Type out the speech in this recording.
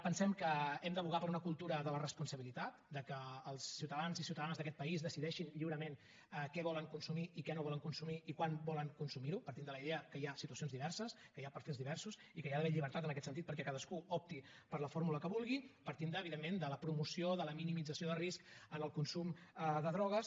pensem que hem d’advocar per una cultura de la responsabilitat que els ciutadans i ciutadanes d’aquest país decideixin lliurament què volen consumir i què no volen consumir i quan volen consumir ho partint de la idea que hi ha situacions diverses que hi ha perfils diversos i que hi ha d’haver llibertat en aquest sentit perquè cadascú opti per la fórmula que vulgui partint evidentment de la promoció de la minimització de risc en el consum de drogues